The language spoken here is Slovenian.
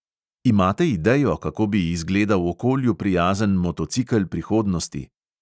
Imate idejo, kako bi izgledal okolju prijazen motocikel prihodnosti?